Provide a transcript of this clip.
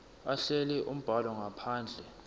ahlele umbhalo ngaphandle